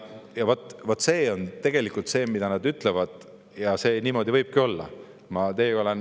Ja vot see on tegelikult see, mida nad ütlevad, ja see niimoodi võibki olla.